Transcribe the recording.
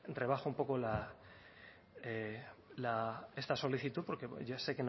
rebaje un poco la esta solicitud porque ya sé